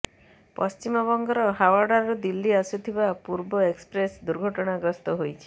ପଶ୍ଚିମବଙ୍ଗର ହାୱଡ଼ାରୁ ଦିଲ୍ଲୀ ଆସୁଥିବା ପୂର୍ବା ଏକ୍ସପ୍ରେସ ଦୁର୍ଘଟଣା ଗ୍ରସ୍ତ ହୋଇଛି